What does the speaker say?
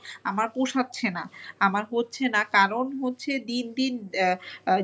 আমার পোষাচ্ছে না। আমার হচ্ছে না কারণ হচ্ছে দিন দিন আহ